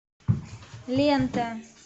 лента